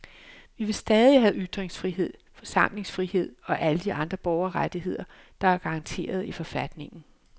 Vi vil stadig have ytringsfrihed, forsamlingsfrihed og alle de andre borgerrettigheder, der er garanteret i forfatningen.